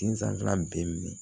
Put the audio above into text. Den sanfɛla bɛɛ minɛ